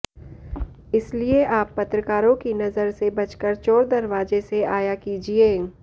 इसलिए आप पत्रकारों की नजर से बचकर चोर दरवाजे से आया कीजिए